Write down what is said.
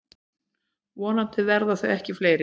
Vonandi verða þau ekki fleiri.